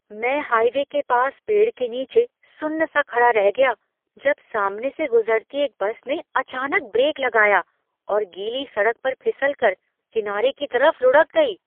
मैं हाइवे के पास पेड़ के नीचे सुन्न सा खड़ा रह गया जब सामने से गुजरती एक बस ने अचानक ब्रेक लगाया और गीली सड़क पर फिसल कर किनारे की तरफ लुढ़क गई।